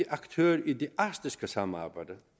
aktør i det arktiske samarbejde